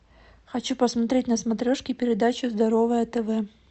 хочу посмотреть на смотрешке передачу здоровое тв